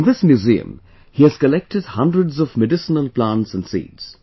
In this museum, he has collected hundreds of medicinal plants and seeds